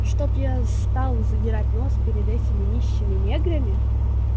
чтоб я стал задирать нос перед этими нищими неграми